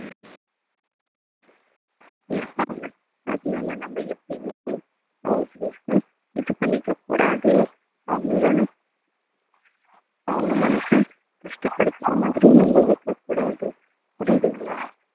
இருப்பாங்க அதனால நம்ம எப்பயுமே house wife அ இது பண்ணிக்க கூடாது அவங்களை அவங்க மனச கஷ்டப்படுத்துற மாதிரி நம்ம வைக்கக் கூடாது புரியுதுங்களா